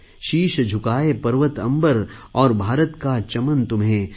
शीश झुकाएँ पर्वत अम्बर और भारत का चमन तुम्हें